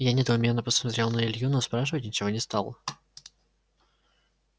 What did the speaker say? я недоуменно посмотрел на илью но спрашивать ничего не стал